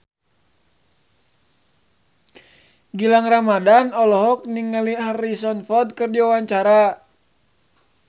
Gilang Ramadan olohok ningali Harrison Ford keur diwawancara